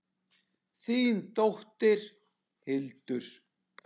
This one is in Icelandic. Þín dóttir, Hildur.